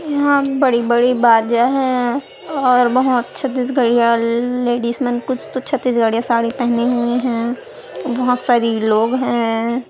यहाँ बड़ी बड़ी बाजा है और बहुत छत्तीसगाड़िया ले लेडीस मन में कुछ तो छत्तीसगाड़िया साड़ी पहनी हुई है और बहुत सारी लोग हैं।